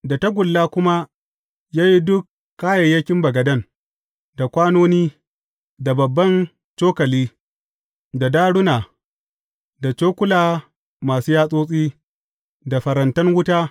Da tagulla kuma ya yi duk kayayyakin bagaden, da kwanoni, da babban cokali, da daruna, da cokula masu yatsotsi, da farantan wuta.